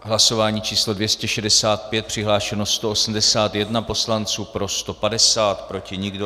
Hlasování číslo 265, přihlášeno 181 poslanců, pro 150, proti nikdo.